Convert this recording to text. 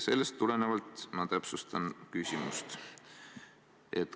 Sellest tulenevalt ma täpsustan küsimust.